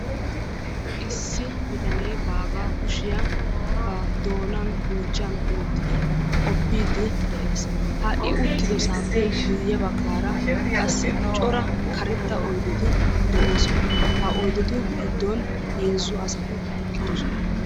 issi bitanee baagaa kushiya ba buuchchan wottidi qopiidi de'ees, ha i uttidosaappe guye bagaara qassi cora karetta oydeti de'oosona. ha oydetu giddon heezzu asati eqqidosona.